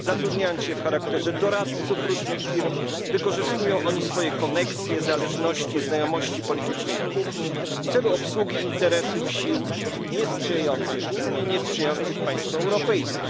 Zatrudniając się w charakterze doradców różnych firm, wykorzystują oni swoje koneksje, zależności, znajomości politycznej kuchni w celu obsługi interesów sił niesprzyjających Unii i niesprzyjających państwom europejskim.